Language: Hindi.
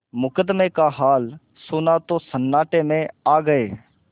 मुकदमे का हाल सुना तो सन्नाटे में आ गये